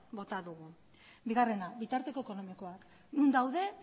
bota dugu bigarrena bitarteko ekonomikoak non daude